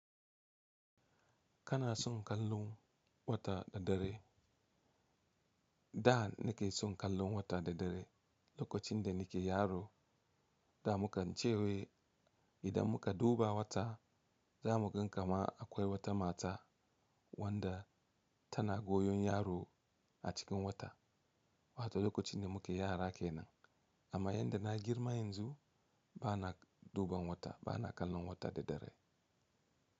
Kana son kallon wata da dare? Da nake son kallon wata da dare lokacin da nake yaro. Da muka ce wa idan muka duba wata za mu gan kama akwai wata mata wanda tana goyon yaro a cikin wata. Wato lokacin da muke yara kenan. Amma yadda na girma yanzu bana duban wata bana kallon wata da dare.